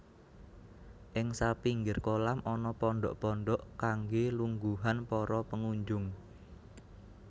Ing sapinggir kolam ana pondhok pondhok kangge lungguhan para pengunjung